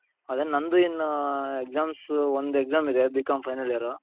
ಅದೇ ನಂದು ಇನ್ನು exams ಒಂದ್ exam ಇದೆ B.com final year .